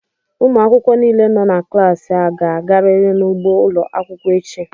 Ụmụ akwụkwọ niile nọ na klaasị a ga-agarịrị n'ugbo ụlọ akwụkwọ echi!